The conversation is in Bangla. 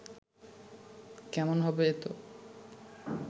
কেমন হবে এতো